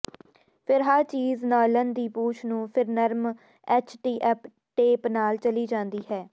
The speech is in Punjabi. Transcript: ਫਿਰ ਹਰ ਚੀਜ਼ ਨਾਇਲਨ ਦੀ ਪੂਛ ਨੂੰ ਫਿਰ ਨਰਮ ਐਚਟੀਅਪ ਟੇਪ ਨਾਲ ਚਲੀ ਜਾਂਦੀ ਹੈ